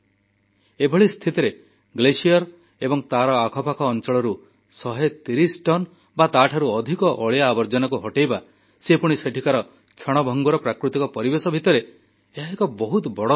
ଏଭଳି ସ୍ଥିତିରେ ହିମଖଣ୍ଡ ଏବଂ ତାର ଆଖପାଖ ଅଞ୍ଚଳରୁ 130 ଟନ୍ ବା ତାଠାରୁ ଅଧିକ ଅଳିଆ ଆର୍ବଜନାକୁ ହଟେଇବା ସେ ପୁଣି ସେଠିକାର କ୍ଷଣଭଙ୍ଗୁର ପ୍ରାକୃତିକ ପରିବେଶ ଭିତର ଏହା ଏକ ବହୁତ ବଡ଼ ସେବା